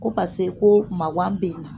Ko paseke ko maawa bɛ n na